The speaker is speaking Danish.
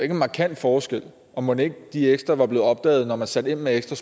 en markant forskel og mon ikke de ekstra var blevet opdaget når man satte ind med ekstra